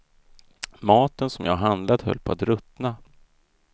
Maten som jag handlat höll på att ruttna.